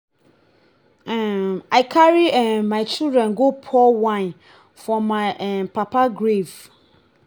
um i carry um my children go pour wine for my um papa grave